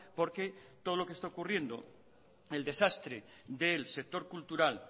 porque todo lo que está ocurriendo el desastre del sector cultural